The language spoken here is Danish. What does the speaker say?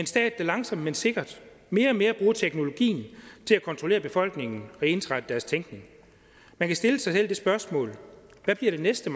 stat der langsomt men sikkert mere og mere bruger teknologien til at kontrollere befolkningen og ensrette deres tænkning man kan stille sig selv det spørgsmål hvad bliver det næste